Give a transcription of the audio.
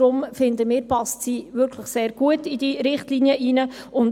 Wir denken, dass sie sehr gut in diese Richtlinie hineinpasst.